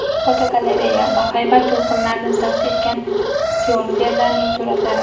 Fotogalereya: Bahaybat to‘lqinlarni zabt etgan syorferlarning suratlari.